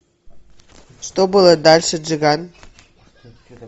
что было дальше джиган